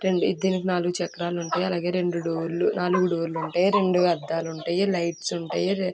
దీనికి నాలుగు చక్రాలు ఉంటాయి. అలాగే రెండు డోర్లు నాలుగు డోర్లు ఉంటాయి. రెండు అద్దాలుంటాయి. లైట్స్ ఉంటాయి. రే--